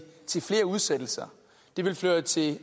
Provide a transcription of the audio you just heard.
til flere udsættelser det vil føre til